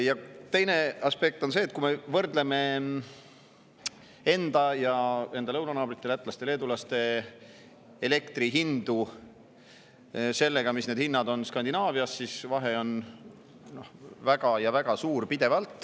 Ja teine aspekt on see, et kui me võrdleme enda ja meie lõunanaabrite, lätlaste-leedulaste, elektrihindu sellega, mis hinnad on Skandinaavias, siis vahe on pidevalt väga suur.